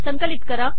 संकलित करा